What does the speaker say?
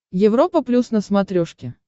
европа плюс на смотрешке